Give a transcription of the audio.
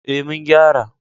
Ee, mun gyara.